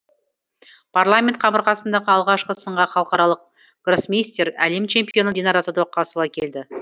парламент қабырғасындағы алғашқы сынға халықаралық гроссмейстер әлем чемпионы динара сәдуақасова келді